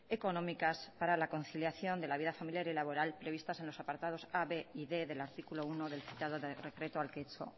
económicas para la conciliación de la vida familiar y laboral previstas en los apartados a b y d del artículo uno del citado decreto al que he hecho